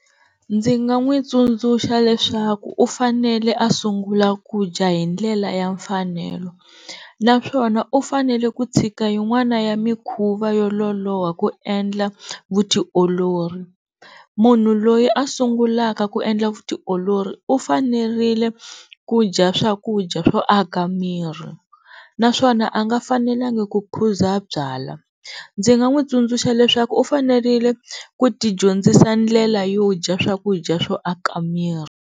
Ndzi nga n'wi tsundzuxa leswaku u fanele a sungula ku dya hi ndlela ya mfanelo naswona u fanele ku tshika yin'wana ya mikhuva yo lolowa ku endla vutiolori, munhu loyi a sungulaka ku endla vutiolori u fanerile ku dya swakudya swo aka miri naswona a nga fanelanga ku phuza byalwa. Ndzi nga n'wi tsundzuxa leswaku u fanerile ku ti dyondzisa ndlela yo dya swakudya swo aka miri.